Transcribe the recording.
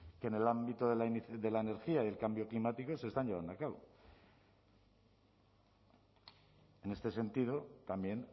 que en el ámbito de la energía y el cambio climático se están llevando a cabo en este sentido también